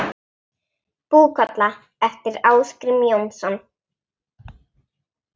Búkolla eftir Ásgrím Jónsson